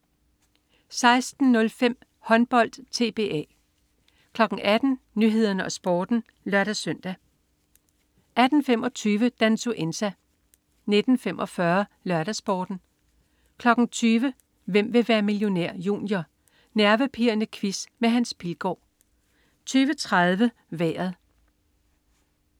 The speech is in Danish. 16.05 Håndbold: TBA 18.00 Nyhederne og Sporten (lør-søn) 18.25 Dansuenza 19.45 LørdagsSporten 20.00 Hvem vil være millionær? Junior. Nervepirrende quiz med Hans Pilgaard 20.30 Vejret